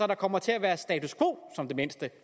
der kommer til at være status quo som det mindste